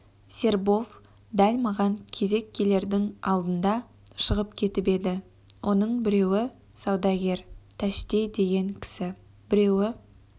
сербов дәл маған кезек келердің алдында шығып кетіп еді оның біреуі саудагер тәшти деген кісі біреуі